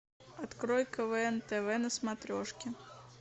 открой квн тв на смотрешке